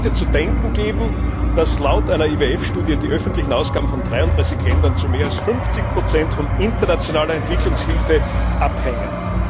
Es sollte zu denken geben, dass laut einer IWF Studie die öffentlichen Ausgaben von 33 Ländern zu mehr als 50 von internationaler Entwicklungshilfe abhängen.